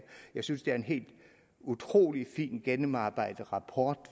jeg synes det er en helt utrolig fint gennemarbejdet rapport